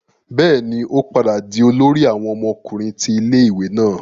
bẹẹni, o padà di olórí àwọn ọmọkùnrin ti ilé-ìwé náà